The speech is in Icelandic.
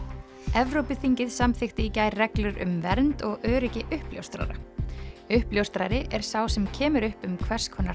Evrópuþingið samþykkti í gær reglur um vernd og öryggi uppljóstrara uppljóstrari er sá sem kemur upp um hvers konar